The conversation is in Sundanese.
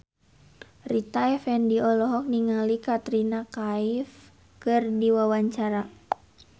Rita Effendy olohok ningali Katrina Kaif keur diwawancara